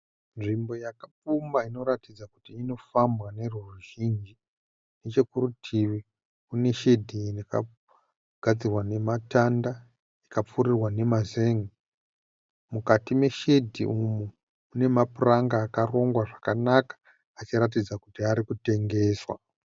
Nzvimbo yakapfumba inoratidza kuti inofambwa nevoruzhinji. Nechokurutivi kuneshedhi yakagadzirwa nematanda ikapfurirwa nemazen'e. Mukati meshedhi umu mune mapuranga akarongwa zvakanaka achiratidza kuti arikutengeswa.